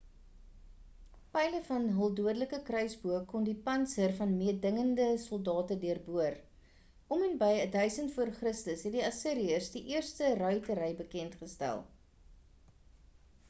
pyle van hul dodelike kruisboë kon die pantser van mededingende soldate deurboor om en by 1000 v.c. het die assiriërs die eerste ruitery bekend gestel